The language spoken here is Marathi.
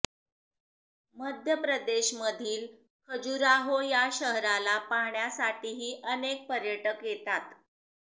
मध्य प्रदेशमधील खजुराहो या शहराला पाहण्यासाठीही अनेक पर्यटक येतात